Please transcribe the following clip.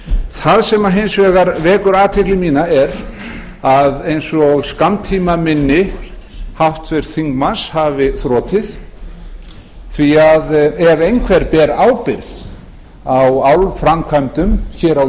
það sem hins vegar vekur athygli mína er að eins og skammtímaminni háttvirts þingmanns hafi þrotið því ef einhver ber ábyrgð á álframkvæmdum hér á